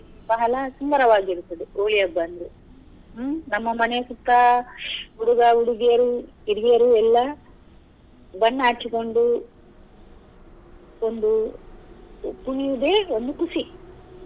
ಬಹಳ ಸುಂದರವಾಗಿರುತ್ತದೆ Holi ಹಬ್ಬ ಅಂದ್ರೆ ಹ್ಮ್ ನಮ್ಮ ಮನೆಯ ಸುತ್ತ ಹುಡುಗ ಹುಡುಗಿಯರು ಹಿರಿಯರು ಎಲ್ಲ ಬಣ್ಣ ಹಚ್ಚಿಕೊಂಡು ಒಂದು ಕುಣಿಯುದೆ ಒಂದು ಖುಷಿ.